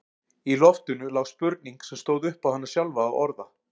Í loftinu lá spurning sem stóð upp á hana sjálfa að orða.